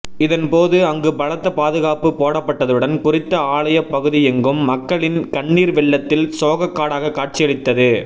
இதன் போது அங்கு பலத்த பாதுகாப்பு போடப்பட்டதுடன் குறித்த ஆலயப் பகுதியெங்கும் மக்களின் கண்ணீர் வெள்ளத்தில் சோகக் காடாக கட்சியளித்தது